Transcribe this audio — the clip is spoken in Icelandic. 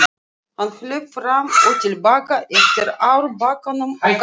Hann hljóp fram og til baka eftir árbakkanum og kallaði.